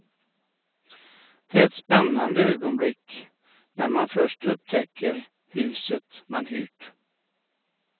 Det är ett spännande ögonblick när man först upptäcker huset man hyrt.